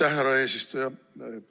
Aitäh, härra eesistuja!